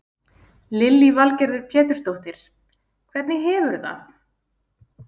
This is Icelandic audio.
Lillý Valgerður Pétursdóttir: Hvernig hefurðu það?